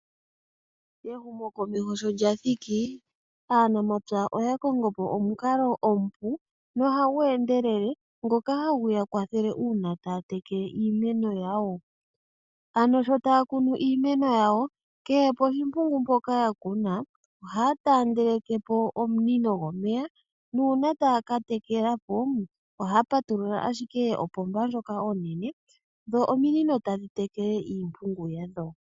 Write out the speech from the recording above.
Ehumo komeho sho lya thiki, aanamapya oya kongo po omukalo omupu nohagu endelele ngoka hagu ya kwathele uuna taya tekele iimeno yawo. Ano sho taya kunu iimeno yawo kehe poshimpungu mpoka ya kuna ohaya taandele ke po omunino gomeya, nuuna taya ka tekela po ohaya patulula ashike ompomba ndjoka onene dho ominino tadhi tekele iimpungu yadho.